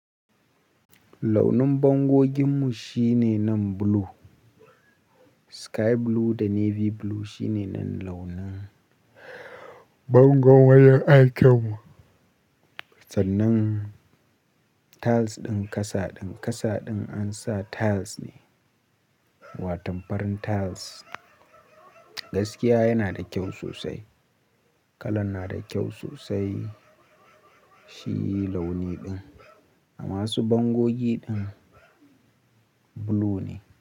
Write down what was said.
Launin bangoginmu shine nan blue, sky blue da navy blue shine nan launin bangon wayan aikinmu. Sannan tiles ɗin ƙasa, ƙasa ɗin an sa tiles ne, waton farin tiles. Gaskiya yana da kyau sosai, kalan na da kyau sosai, shi launi ɗin a masu bangogi ɗin blue ne.